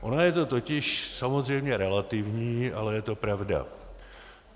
Ono je to totiž samozřejmě relativní, ale je to pravda.